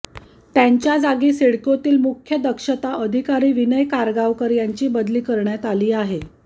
त्यांच्या जागी सिडकोतील मुख्य दक्षता अधिकारी विनय कारगावकर यांची बदली करण्यात आली आहे